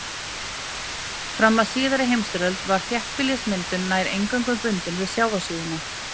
Fram að síðari heimsstyrjöldinni var þéttbýlismyndun nær eingöngu bundin við sjávarsíðuna.